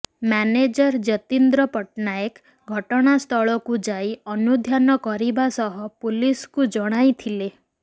manager Jatindra Pattnaik ଘଟଣାସ୍ଥଳକୁ ଯାଇ ଅନୁଧ୍ୟାନ କରିବା ସହ ପୁଲିସକୁ ଜଣାଇଥିଲେ